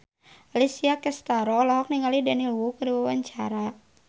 Alessia Cestaro olohok ningali Daniel Wu keur diwawancara